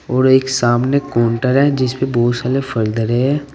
और एक सामने काउंटर है जिसपे बहुत साले फल धले है।